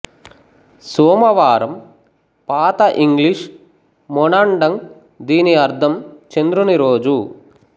సోమవారం పాత ఇంగ్లీష్ మెనాండగ్ దీని అర్థం చంద్రుని రోజు